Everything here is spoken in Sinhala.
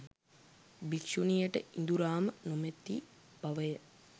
භික්‍ෂුණියට ඉඳුරාම නොමැති බව ය